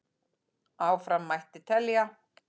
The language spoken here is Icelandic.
Áfram mætti telja.